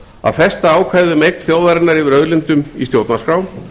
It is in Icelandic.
að festa ákvæðið um eign þjóðarinnar yfir auðlindum í stjórnarskrá